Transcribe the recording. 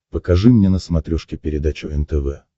покажи мне на смотрешке передачу нтв